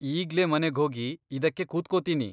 ಈಗ್ಲೇ ಮನೆಗ್ಹೋಗಿ ಇದಕ್ಕೆ ಕೂತ್ಕೊತೀನಿ.